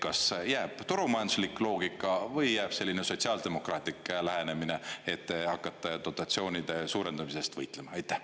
Kas jääb turumajanduslik loogika või jääb selline sotsiaaldemokraatlik lähenemine, et hakata dotatsioonide suurendamise eest võitlema?